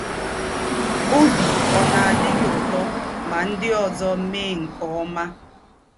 Ọbi ọ̀ na - adị gị ụtọ ma ndị ọzọ mee nke ọma?